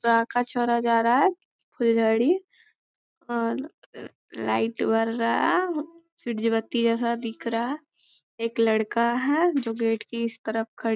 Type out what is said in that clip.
पराका छोरा जा रहा है फुलझड़ी और लाइट बड़ रहा है जैसा दिख रहा है एक लड़का है जो गेट की इस तरफ --